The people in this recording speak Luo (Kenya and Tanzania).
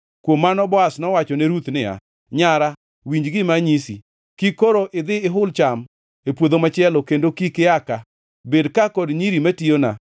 Kuom mano Boaz nowachone Ruth niya, “Nyara, winj gima anyisi. Kik koro idhi ihul cham e puodho machielo kendo kik ia ka. Bed ka kod nyiri matiyona.